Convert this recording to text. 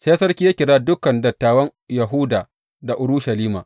Sai sarki ya kira dukan dattawan Yahuda da Urushalima.